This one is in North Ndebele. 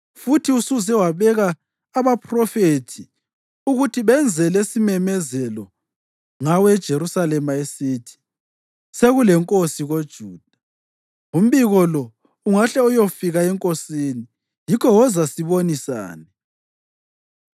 futhi usuze wabeka abaphrofethi ukuthi benze lesisimemezelo ngawe eJerusalema esithi: ‘Sekulenkosi koJuda!’ Umbiko lo ungahle uyofika enkosini; yikho woza sibonisane.”